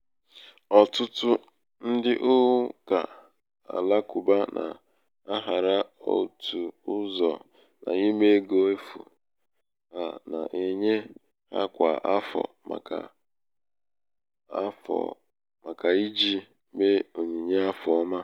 ọ̀̀tụ̀tụ̀ ndị ụkà àlakụ̀ba nà-àhara otù ụzọ̀ n’ime ego efù a nà-ènye hā kwà àfọ̀ màkà kwà àfọ̀ màkà ijì mee ònyìnye afọ ọma